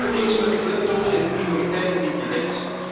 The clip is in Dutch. Ik ben het eens met de klemtonen en prioriteiten die u legt.